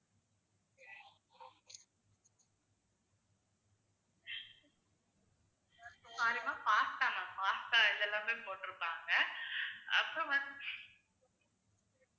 sorry ma'am pasta ma'am pasta இதெல்லாமே போட்டுருப்பாங்க. அப்புறம் வந்து